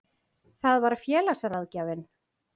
Það var félagsráðgjafinn.